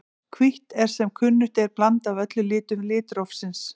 Hvítt er sem kunnugt er blanda af öllum litum litrófsins.